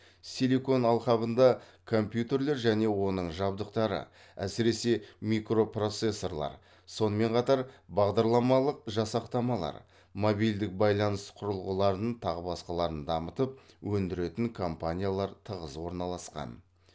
силикон алқабында компьютерлер және оның жабдықтары әсіресе микропроцессорлар сонымен қатар бағдарламалық жасақтамалар мобильдік байланыс құрылғыларын тағы басқаларын дамытып өңдіретін компаниялар тығыз орналасқан